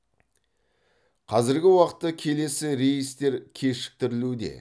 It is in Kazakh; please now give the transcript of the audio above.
қазіргі уақытта келесі рейстер кешіктірілуде